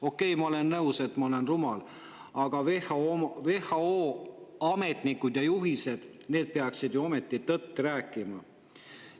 Okei, ma olen nõus, et ma olen rumal, aga WHO ametnikud ja peaksid ju ometi tõtt rääkima.